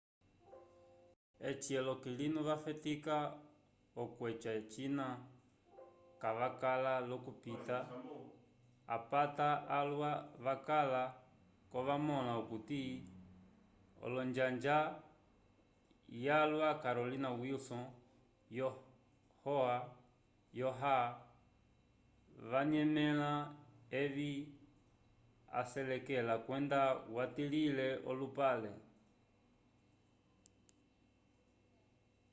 eci olokilinu vafetika okweca cina cakala l'okupita apata alwa vakala-ko vamõla okuti l'onjanga yalwa carolyn wilson yo oha wanyanẽle evi aselekele kwenda watilile olupale